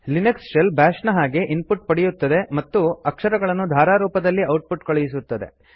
Linux shell bash ನ ಹಾಗೆ input ಪಡೆಯುತ್ತದೆ ಮತ್ತು ಅಕ್ಷರಗಳನ್ನು ಧಾರಾರೂಪದಲ್ಲಿ ಔಟ್ ಪುಟ್ ಕಳುಹಿಸುತ್ತದೆ